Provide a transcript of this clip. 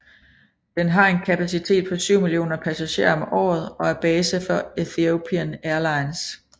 Den har en kapacitet på 7 mio passagerer om året og er base for Ethiopian Airlines